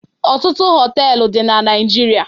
Ọtụtụ họtelụ dị na Naịjirịa.